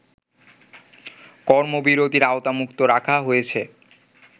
কর্মবিরতির আওতামুক্ত রাখা হয়েছে